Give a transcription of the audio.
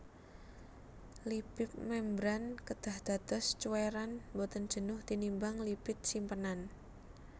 Lipip mémbran kedah dados cuwèran boten jenuh tinimbang lipid simpenan